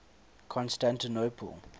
constantinople